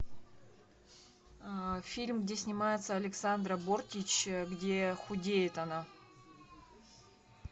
фильм где снимается александра бортич где худеет она